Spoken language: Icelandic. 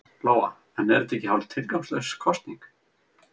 Lóa: En er þetta ekki hálf tilgangslaus kosning?